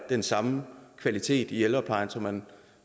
den samme kvalitet i ældreplejen som man